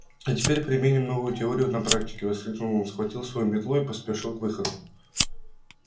а теперь применим новую теорию на практике воскликнул он схватил свою метлу и поспешил к выходу